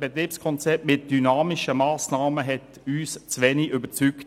Betriebskonzept mit dynamischen Massnahmen zu wenig überzeugt.